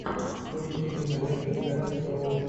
поищи киноленту с шэрон стоун